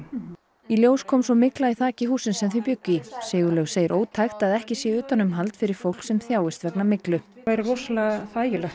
í ljóst kom svo mygla í þaki hússins sem þau bjuggu í Sigurlaug segir ótækt að ekki sé utanumhald fyrir fólk sem þjáist vegna myglu væri rosalega þægilegt